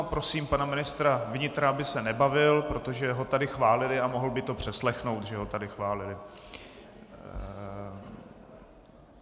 A prosím pana ministra vnitra, aby se nebavil , protože ho tady chválili a mohl by to přeslechnout, že ho tady chválili.